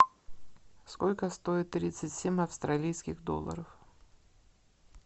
сколько стоит тридцать семь австралийских долларов